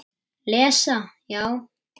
Lesa já?